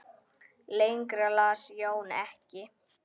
Lengra las Jón ekki.